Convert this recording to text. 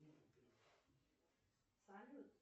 салют